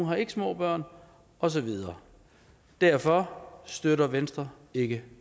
har ikke små børn og så videre derfor støtter venstre ikke